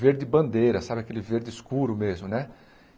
Verde bandeira, sabe aquele verde escuro mesmo, né?